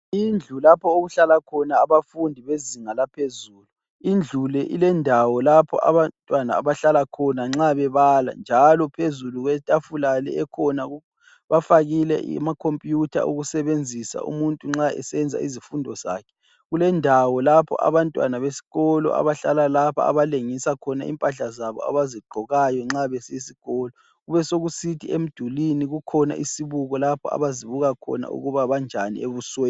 Indlu lapha okuhlala khona abafundi bezinga laphezulu. Indlu le ilendawo lapho abantwana abahlala khona nxa bebala, njalo phezulu kwetafula le ekhona bafakile amakhompuyutha okusebenzisa umuntu nxa esenza izifundo zakhe. Kulendawo lapho abantwana beskolo abahlala lapha abalengisa khona impahla zabo abazigqokayo nxa besiy'esikolo. Besokusithi emdulini kukhona isibuko lapho abazibuka khona ukuba banjani ebusweni